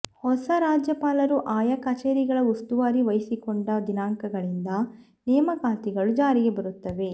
ಹೊಸ ರಾಜ್ಯಪಾಲರು ಆಯಾ ಕಚೇರಿಗಳ ಉಸ್ತುವಾರಿ ವಹಿಸಿಕೊಂಡ ದಿನಾಂಕಗಳಿಂದ ನೇಮಕಾತಿಗಳು ಜಾರಿಗೆ ಬರುತ್ತವೆ